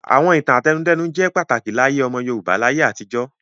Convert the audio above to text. Àwọn ìtàn àtẹnudẹ́nu jẹ́ pàtàkì láyé ọmọ Yorùbá láyé àtijó.